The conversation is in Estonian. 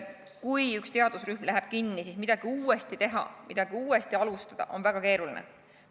Kui üks teadusrühm lõpetab tegevuse, siis midagi uuesti teha, midagi uuesti alustada on väga keeruline.